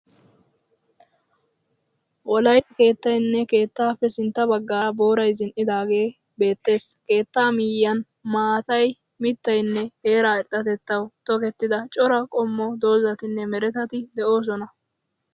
Wolayitta keettayinne keettaappe sintta baggaara boorayi zin'idaagee beettees. Keettaa miyyiyan maatayi, mittayinne heera irxxatettawu tokettida cora qommo doozzatinne meretati de'oosona.